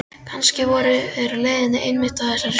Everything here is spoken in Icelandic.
Kannski voru þeir á leiðinni einmitt á þessari stundu.